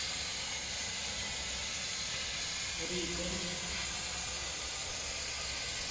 рига